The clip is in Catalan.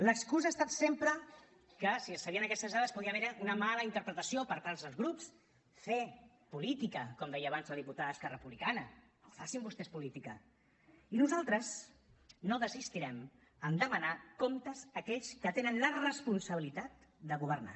l’excusa ha estat sempre que si es sabien aquestes dades podia haver hi una mala interpretació per part dels grups fer política com deia abans la diputada d’esquerra republicana no facin vostès política i nosaltres no desistirem a demanar comptes a aquells que tenen la responsabilitat de governar